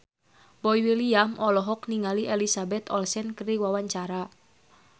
Boy William olohok ningali Elizabeth Olsen keur diwawancara